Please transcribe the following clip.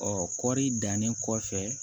Ɔ kɔɔri dannen kɔfɛ